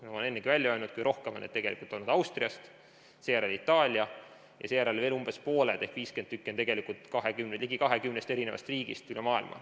Ma olen ennegi öelnud, et kõige rohkem on seda toodud tegelikult Austriast, seejärel on Itaalia ja umbes pooled inimesed ehk 50 inimest on selle toonud ligi 20 riigist üle maailma.